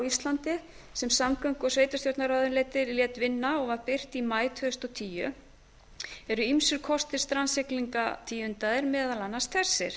íslandi sem samgöngu og sveitarstjórnarráðuneytið lét vinna og birt var í maí tvö þúsund og tíu eru ýmsir kostir strandsiglingar tíundaðir meðal annars þessir